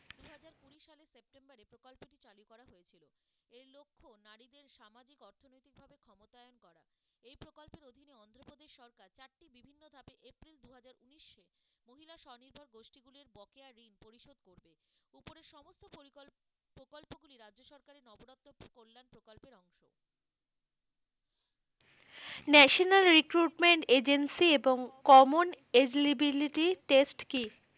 National recruitment agency এবং common eligibility test কি?